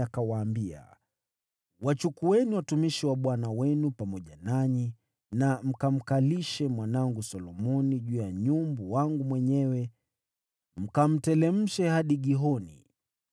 akawaambia: “Wachukueni watumishi wa bwana wenu pamoja nanyi na mkamkalishe mwanangu Solomoni juu ya nyumbu wangu mwenyewe mkamteremshe hadi Gihoni.